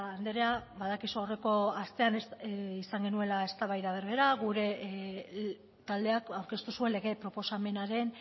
andrea badakizu aurreko astean izan genuela eztabaida berbera gure taldeak aurkeztu zuen lege proposamenaren